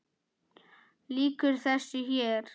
Lýkur þessu hér?